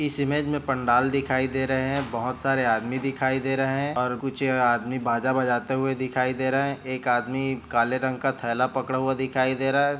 इस इमेज में पंडाल दिखाई दे रहे है बहोत सारे आदमी दिखाई दे रहे हैं और कुछ आदमी बाजा बजाते हुए दिखाई दे रहे हैं एक आदमी काले रंग का थैला पकड़ा हुआ दिखाई दे रहा हैं।